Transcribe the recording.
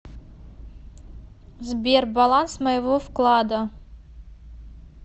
сбер баланс моего вклада